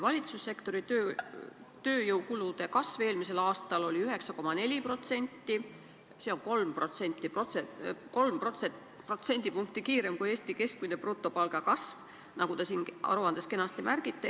Valitsussektori tööjõukulude kasv eelmisel aastal oli 9,4%, see on 3% võrra enam kui Eesti keskmine brutopalga kasv, nagu te siin aruandes märgite.